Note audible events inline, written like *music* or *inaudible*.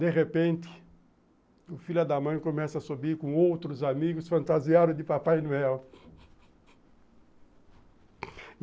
De repente, o filho da mãe começa a subir com outros amigos fantasiados de Papai Noel *cries*